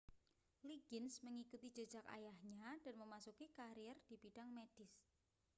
liggins mengikuti jejak ayahnya dan memasuki karier di bidang medis